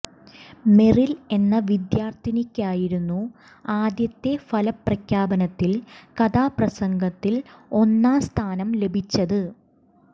Merrill എന്ന വിദ്യാർത്ഥിനിയ്ക്കായിരുന്നു ആദ്യത്തെ ഫലപ്രഖ്യാപനത്തിൽ കഥാപ്രസംഗത്തിൽ ഒന്നാം സ്ഥാനം ലഭിച്ചത്